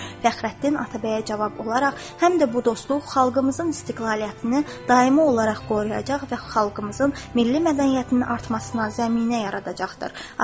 Fəxrəddin Atabəyə cavab olaraq həm də bu dostluq xalqımızın istiqlaliyyətini daimi olaraq qoruyacaq və xalqımızın milli mədəniyyətinin artmasına zəminə yaradacaqdır.